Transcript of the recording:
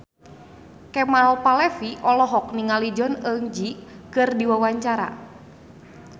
Kemal Palevi olohok ningali Jong Eun Ji keur diwawancara